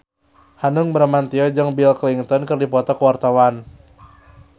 Hanung Bramantyo jeung Bill Clinton keur dipoto ku wartawan